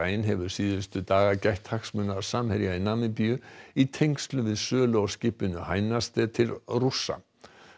rein hefur síðustu daga gætt hagsmuna Samherja í Namibíu í tengslum við sölu á skipinu til Rússa